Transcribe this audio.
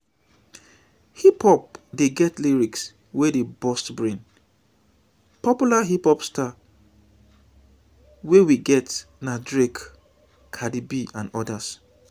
hip hop dey get lyrics wey dey burst brain popular hip-hop stars wey we get na drake cardie-b and odas